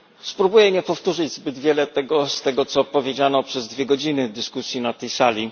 Spróbuję nie powtórzyć zbyt wiele z tego, co powiedziano przez dwie godziny dyskusji na tej sali.